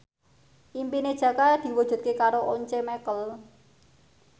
impine Jaka diwujudke karo Once Mekel